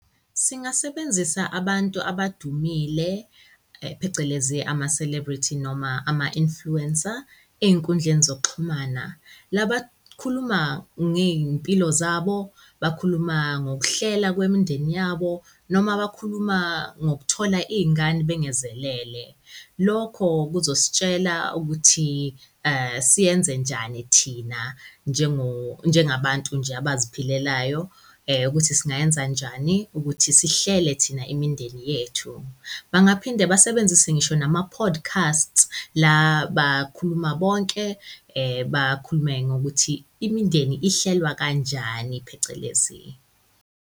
Singasebenzisa abantu abadumile, phecelezi ama-celebrity noma ama-influencer ey'nkundleni zokuxhumana. La bakhuluma ngey'mpilo zabo, bakhuluma ngokuhlela kwemindeni yabo noma bakhuluma ngokuthola iy'ngane bengezelele. Lokho kuzositshela ukuthi siyenze njani thina njengabantu nje abaziphilelayo ukuthi singayenza njani ukuthi sihlele thina imindeni yethu. Bangaphinde basebenzise ngisho nama-podcasts, la bakhuluma bonke, bakhulume ngokuthi imindeni ihlelwa kanjani, phecelezi.